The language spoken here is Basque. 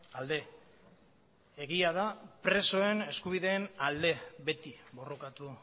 alde egia da presoen eskubideen alde beti borrokatu